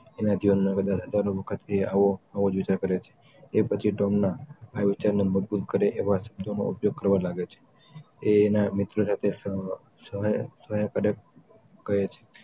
એના જીવનમાં કદાચ હજારો વખત આવો આવો જ વિચાર કરે છે એ પછી તોમના આ વિચારોને મજબૂત કરે એવ શબ્દોનો ઉપયોગ કરવા લાગે છે એ એના મિત્રો સાથે શેર કરે છે